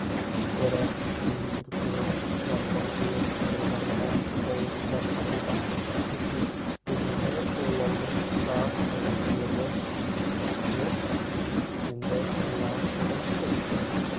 бірақ күн күркіреп жаңбыр құйып тұрғанда бұл баспанадан кету дегенді ойлаудың да қажеттігі жоқ дик енді мына ұғымсыз